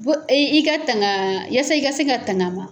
Bon i ka tanga i ka se ka tang' a ma.